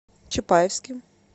чапаевске